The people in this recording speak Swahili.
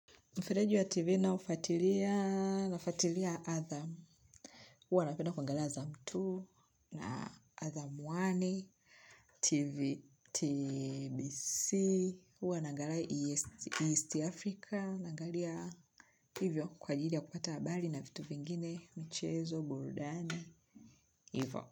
Mfereji wa TV naofuatilia nafuatilia atham. Huwa napenda kuangalia atham mbili na atham moja TV TBC huwa naangalia East Africa naangalia hivyo kwa ajili ya kupata habari na vitu vingine michezo, burudani. Hivyo.